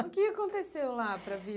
O que aconteceu lá para a